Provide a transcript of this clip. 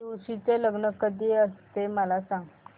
तुळशी चे लग्न कधी असते ते मला सांग